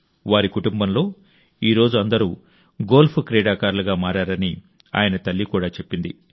వారి కుటుంబంలో ఈ రోజు అందరూ గోల్ఫ్ క్రీడాకారులుగా మారారని ఆయన తల్లి కూడా చెప్పింది